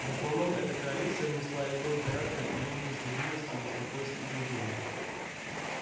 в основном эта коалиция внесла элемент порядка в период нестабильности и беспокойств в империи